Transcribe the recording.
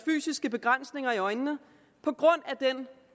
fysiske begrænsninger i øjnene på grund af den